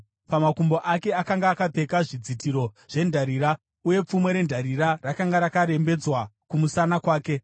pamakumbo ake akanga akapfeka zvidzitiro zvendarira, uye pfumo rendarira rakanga rakarembedzwa kumusana kwake.